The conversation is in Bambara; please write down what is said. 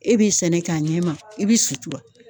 E b'i sɛnɛ k'a ɲɛma i bi sutura.